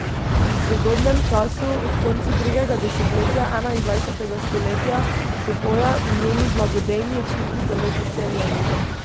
V sodobnem času, ob koncu drugega desetletja enaindvajsetega stoletja, so hoja in njeni blagodejni učinki zelo podcenjeni.